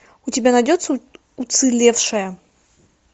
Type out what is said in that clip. у тебя найдется уцелевшая